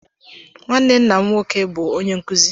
Nwanne nna m nwoke bu onye nzuzu.